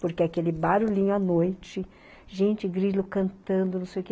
Porque aquele barulhinho à noite, gente, grilo cantando, não sei o quê